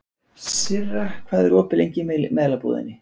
Sirra, hvað er opið lengi í Melabúðinni?